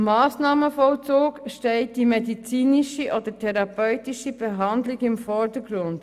Beim Massnahmenvollzug steht die medizinische oder therapeutische Behandlung im Vordergrund.